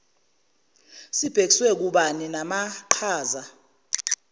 sibhekiswe kubani namaqhaza